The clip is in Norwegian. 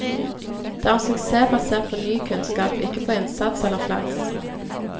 Det er en suksess basert på ny kunnskap, ikke på innsats eller flaks.